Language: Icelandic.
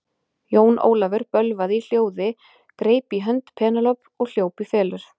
Jón Ólafur bölvaði í hljóði, greip í hönd Penélope og hljóp í felur.